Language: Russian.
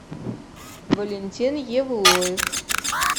валентин евлоев